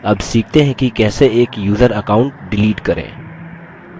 अब सीखते हैं कि कैसे एक यूज़र account डिलीट करें